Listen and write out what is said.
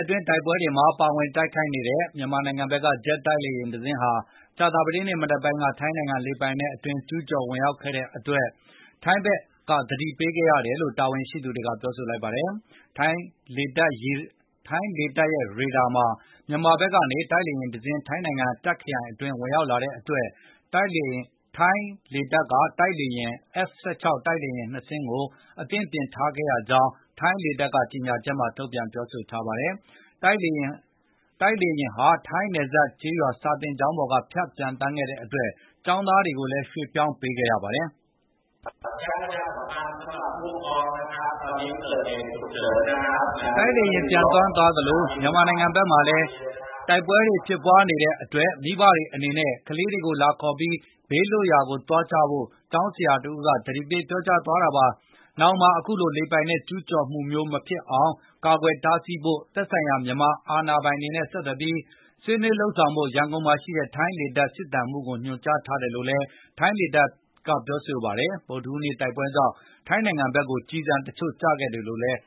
အတွင်းတိုက်ပွဲတွေမှာပါဝင်တိုက်ခိုက်နေတဲ့ မြန်မာဘက်က ဂျက်တိုက် လေယဉ်တစင်းဟာ ကြာသပတေးနေ့မနက်က ထိုင်းနိုင်ငံလေပိုင်နက်အတွင်းကျူး ကျော်ဝင်ရောက်ခဲ့တဲ့အတွက်ထိုင်းဘက်ကသတိပေးခဲ့ရတယ်လို့ ထိုင်းတာဝန်ရှိသူ တွေကပြောဆိုပါတယ်။ ထိုင်းလေတပ်ရေဒါမှာ မြန်မာဘက်ကနေ တိုက်လေယဉ်တစင်း ထိုင်းနိုင်ငံတပ်ခရိုင် အတွင်းဝင်ရောက်လာတဲ့အတွက် ထိုင်းလေတပ်က F16 တိုက်လေယဉ် ၂ စင်းကို အသင့်ပြင်ထားခဲ့ရကြောင်း ထိုင်းလေတပ်က ကြေငြာချက်ထုတ်ပြန်ပါတယ်။ တိုက်လေယဉ်ဟာထိုင်းနယ်စပ်ကျေးရွာစာသင်ကျောင်းပေါ်ကဖြတ်ပျံသန်းခဲ့တဲ့အတွက် ကျောင်းသားတွေကိုလည်းရွှေ့ပြောင်းခဲ့ရပါတယ်။ “တိုက်လေယဉ်ပျံသန်းသွားသလို၊မြန်မာနိုင်ငံဘက်မှာလည်းတိုက်ပွဲတွေဖြစ်နေတဲ့အတွက် မိဘတွေအနေနဲ့ခလေးတွေလာခေါ်ပြီး၊ ဘေးလွတ်ရာကိုသွားကြဖို့”ကျောင်းဆရာက သတိပေးကြေငြာသွားတာပါ။ နောင်မှာ အခုလိုလေပိုင်နက်ကျူးလွန်မှုမျိုးမဖြစ် အောင်ကာကွယ်တားဆီးဖို့ သက်ဆိုင် ရာမြန်မာတာဝန်ရှိသူတွေနဲ့ဆက်သွယ်ပြီး ဆွေးနွေးလုပ်ဆောင်ဖို့ ရန်ကုန်မှာရှိတဲ့ ထိုင်း လေတပ်စစ်သံမှုးကိုညွှန်ကြားထား တယ်လို့လည်းထိုင်းလေတပ်ကပြောဆိုပါတယ်။ ဗုဒ္ဓဟူးနေ့ တိုက်ပွဲကြောင့်ထိုင်းနိုင်ငံဘက်ကိုကျည်တချို့ကျခဲ့တယ်လို့လည်း